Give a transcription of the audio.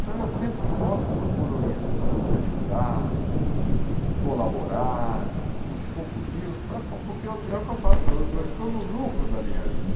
Então, eu sempre que posso, procuro orientar, ajudar, colaborar no que for possível, para po porque é o que eu falo, eu eu estou no lucro da minha vida.